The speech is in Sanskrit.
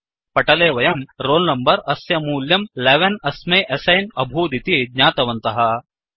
पटले वयं रोलनंबर अस्य मूल्यं 11 अस्मै एस्सैन् अभूदिति ज्ञातवन्तः